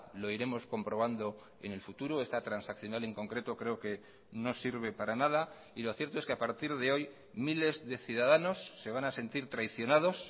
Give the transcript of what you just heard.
lo iremos comprobando en el futuro esta transaccional en concreto creo que no sirve para nada y lo cierto es que a partir de hoy miles de ciudadanos se van a sentir traicionados